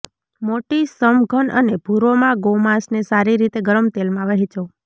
મોટી સમઘન અને ભુરોમાં ગોમાંસને સારી રીતે ગરમ તેલમાં વહેંચો